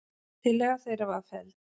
Tillaga þeirra var felld.